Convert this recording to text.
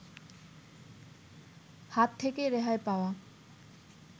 হাত থেকে রেহাই পাওয়া